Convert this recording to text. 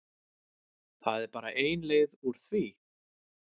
Það er bara ein leið úr því.